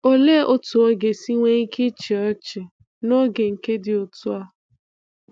Olee otú ọ ga-esi nwee ike ịchị ọchị n’oge nke dị otú a